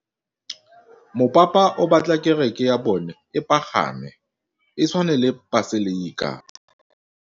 Mopapa o batla kereke ya bone e pagame, e tshwane le paselika.